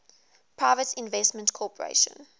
private investment corporation